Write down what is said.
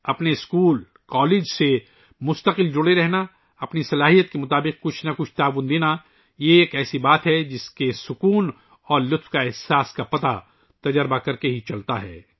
اپنے school, college سے مسلسل جڑے رہنا، اپنی استطاعت کے مطابق کچھ نہ کچھ تعاون کرنا ، ایک ایسی چیز ہے ، جس کا تجربہ کرنے کے بعد ہی ایسا اطمینان اور خوشی کا احساس ہوتا ہے